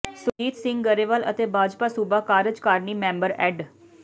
ਸੁਰਜੀਤ ਸਿੰਘ ਗਰੇਵਾਲ ਅਤੇ ਭਾਜਪਾ ਸੂਬਾ ਕਾਰਜਕਾਰਨੀ ਮੈਂਬਰ ਐਡ